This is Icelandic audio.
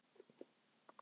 Enginn komst af.